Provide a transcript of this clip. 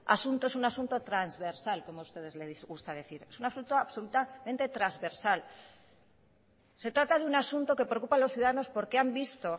asunto es un asunto transversal como a ustedes les gusta decir es un asunto absolutamente transversal se trata de un asunto que preocupa a los ciudadanos porque han visto